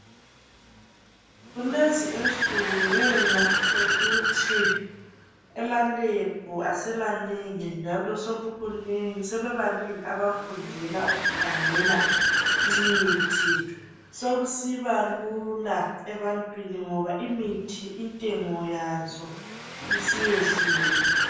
Kulezi insuku ngenxa yokuthi ema lebhu asemanengi njalo sebebanengi abafundela ukukhangela imithi. Sokusiba lula ebantwini ngoba imithi intengo yayo isiyehlile.